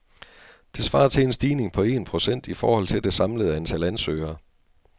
Det svarer til en stigning på en procent i forhold til det samlede antal ansøgere.